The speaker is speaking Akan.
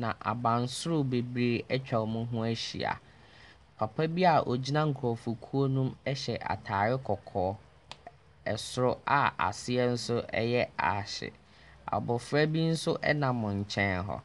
na abansoro bebree atwa wɔn ho ahyia. Papa bi a ɔgyina nkurɔfokuo no mu hyɛ atare kɔkɔɔ. Soro a aseɛ nso yɛ aahye. Abɔfra bi nso nam nkyɛn hɔ.